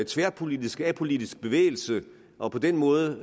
tværpolitisk og apolitisk bevægelse og på den måde